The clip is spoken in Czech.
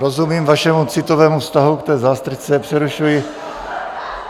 Rozumím vašemu citovému vztahu k té zástrčce...